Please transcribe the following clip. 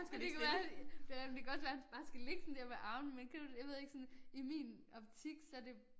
Men det kan være det kan nemlig kan også være han bare skal ligge sådan dér med armene men kender du det jeg ved ikke sådan i min optik så det